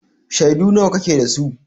Shaidu nawa kake da su?